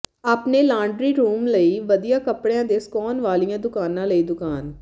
ਆਪਣੇ laundry room ਲਈ ਵਧੀਆ ਕਪੜਿਆਂ ਦੇ ਸੁਕਾਉਣ ਵਾਲੀਆਂ ਦੁਕਾਨਾਂ ਲਈ ਦੁਕਾਨ